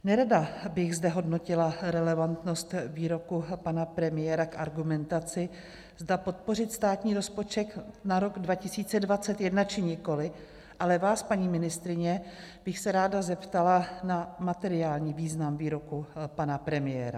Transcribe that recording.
- Nerada bych zde hodnotila relevantnost výroku pana premiéra k argumentaci, zda podpořit státní rozpočet na rok 2021, či nikoliv, ale vás, paní ministryně, bych se ráda zeptala na materiální význam výroku pana premiéra.